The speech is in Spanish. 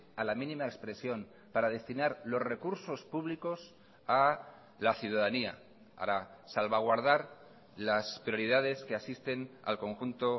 a la mínima expresión para destinar los recursos públicos a la ciudadanía para salvaguardar las prioridades que asisten al conjunto